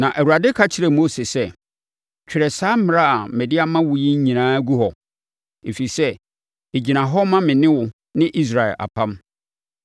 Na Awurade ka kyerɛɛ Mose sɛ, “Twerɛ saa mmara a mede ama wo yi nyinaa gu hɔ, ɛfiri sɛ, ɛgyina hɔ ma me ne wo ne Israel apam.”